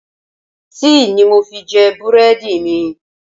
Tíì ni mo fi jẹ búrẹ́dì mi.